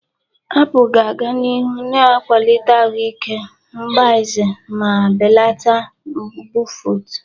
Apụl ga-aga n'ihu na-akwalite ahụ ike mgbaze ma belata mbufụt.